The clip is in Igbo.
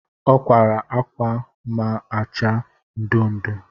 O kwara akwa ma-acha ndu ndu